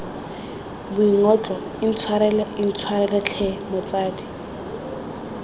boingotlo intshwarele intshwarele tlhe motsadi